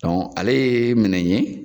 ale ye minɛ ye